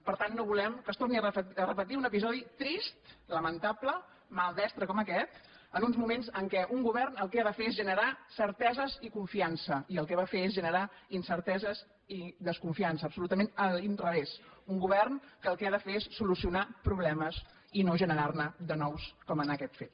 per tant no volem que es torni a repetir un episodi trist lamentable maldestre com aquest en uns moments en què un govern el que ha de fer és generar certeses i confiança i el que va fer és generar incerteses i desconfiança absolutament a l’inrevés un govern que el que ha de fer és solucionar problemes i no generar ne de nous com en aquest fet